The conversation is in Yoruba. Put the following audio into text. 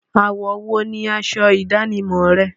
Àwọ̀ wo ni asọ ìdánimọ̀ rẹ?